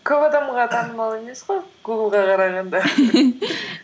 көп адамға танымал емес қой гуглға қарағанда